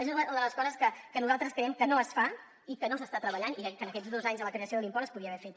és una de les coses que nosaltres creiem que no es fa i que no s’hi està treballant i que en aquests dos anys des de la creació de l’impost es podria haver fet